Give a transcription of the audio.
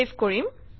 save কৰিম